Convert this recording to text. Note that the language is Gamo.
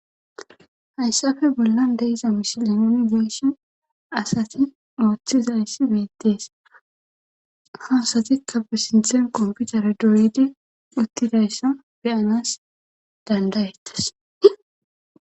Hayssafe bollan deiza misileni nuni geeshin asati ooththizayssi beettees ha asatikka pe sinthen komopiteree doyidi uttidayssa beyanas dandayettes.